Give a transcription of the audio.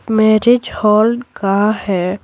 Marriage hall का है।